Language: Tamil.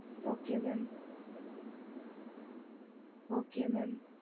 okey mam okay mam